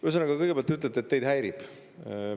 Ühesõnaga, kõigepealt te ütlete, et teid häirib.